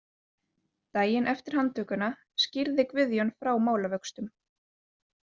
Daginn eftir handtökuna skýrði Guðjón frá málavöxtum.